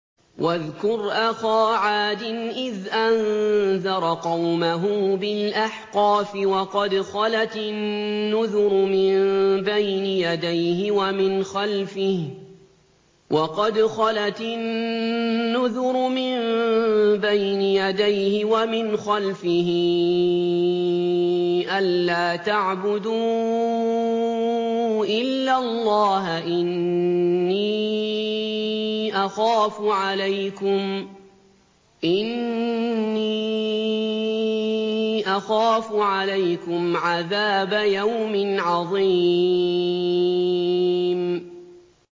۞ وَاذْكُرْ أَخَا عَادٍ إِذْ أَنذَرَ قَوْمَهُ بِالْأَحْقَافِ وَقَدْ خَلَتِ النُّذُرُ مِن بَيْنِ يَدَيْهِ وَمِنْ خَلْفِهِ أَلَّا تَعْبُدُوا إِلَّا اللَّهَ إِنِّي أَخَافُ عَلَيْكُمْ عَذَابَ يَوْمٍ عَظِيمٍ